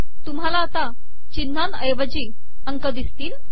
तुम्हाला चिन्हांऐवजी अाता अंक दिसतील